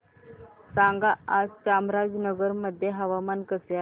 सांगा आज चामराजनगर मध्ये हवामान कसे आहे